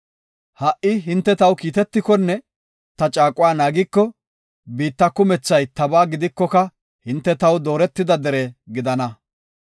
Ha77i hinte taw kiitetikonne ta caaquwa naagiko, biitta kumethay tabaa gidikoka hinte taw dooretida dere gidana.